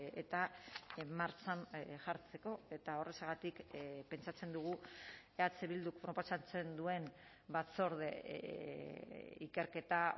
eta martxan jartzeko eta horrexegatik pentsatzen dugu eh bilduk proposatzen duen batzorde ikerketa